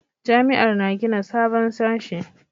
Jami'ar na gina sabon sashe